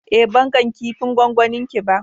Eh, ban gan kipin gwangwani ki ba.